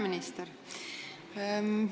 Peaminister!